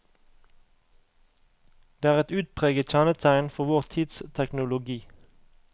Det er et utpreget kjennetegn for vår tids teknologi.